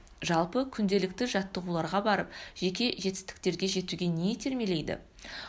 жалпы күнделікті жаттығуларға барып жеке жетістіктерге жетуге не итермелейді